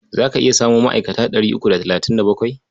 Za ka iya samo ma'aikata ɗari uku da talatin da bakwai?